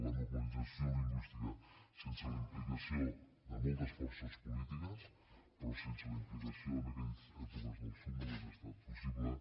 la normalització lingüística sense la implicació de moltes forces polítiques però sense la implicació en aquelles èpoques del psuc no hagués estat possible